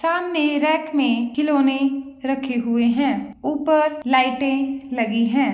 सामने रैक में खिलौने रखे हुए हैं ऊपर लाइटें लगी हुई है।